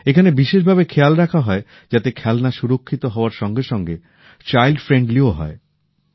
এখানে বিশেষ ভাবে খেয়াল রাখা হয় যাতে খেলনা সুরক্ষিত হওয়ার সঙ্গে সঙ্গে শিশুবান্ধবও হয়